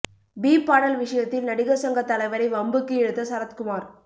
beep பாடல் விஷயத்தில் நடிகர் சங்க தலைவரை வம்புக்கு இழுத்த சரத்குமார்